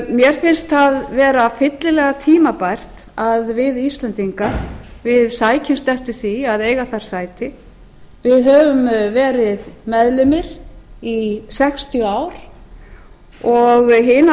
mér finnst það vera fyllilega tímabært að við íslendingar sækjumst eftir því að eiga þar sæti við höfum verið meðlimir í sextíu ár og hinar